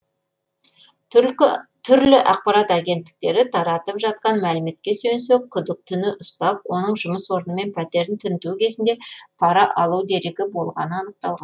түрлі ақпарат агенттіктері таратып жатқан мәліметке сүйенсек күдіктіні ұстап оның жұмыс орны мен пәтерін тінту кезінде пара алу дерегі болғаны анықталған